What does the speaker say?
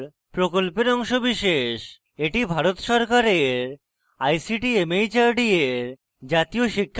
এটি ভারত সরকারের ict mhrd এর জাতীয় শিক্ষা mission দ্বারা সমর্থিত